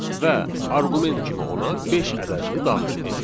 Və arqument kimi ona beş ədədini daxil edir.